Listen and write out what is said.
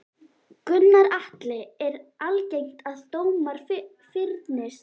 Gunnar Atli: Er algengt að dómar fyrnist?